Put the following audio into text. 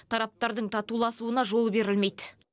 тараптардың татуласуына жол берілмейді